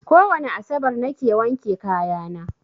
Kowane asabar na ke wanke kaya na